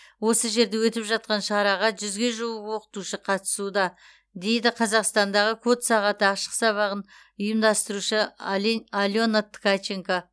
осы жерде өтіп жатқан шараға жүзге жуық оқытушы қатысуда дейді қазақстандағы код сағаты ашық сабағын ұйымдастырушы ален алена ткаченко